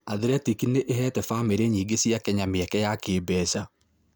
Athletic nĩ ĩheete bamĩrĩ nyingĩ cia Kenya mĩeke ya kĩĩmbeca.